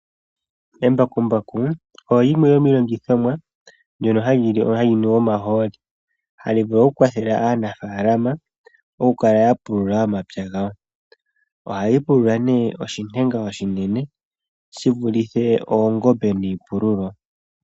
Embakumbaku olyo limwe lyomiilongithomwa mbyoka hayi nu omahooli ohali vulu okukwathela aanafaalama mokukala yapulula omapya gawo . Ohali pulula oshilwa oshinene shivulithe oongombe niipululo.